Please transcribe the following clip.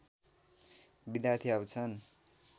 विद्यार्थी आउँछन्